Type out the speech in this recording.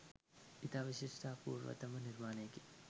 ඉතා විශිෂ්ට අපූර්වතම නිර්මාණයකි.